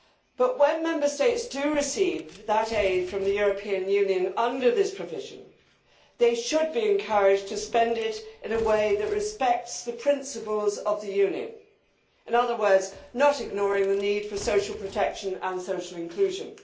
But when Member States do receive that aid from the European Union under this provision, they should be encouraged to spend it in a way that respects the principles of the Union in other words, not ignoring the need for social protection and social inclusion.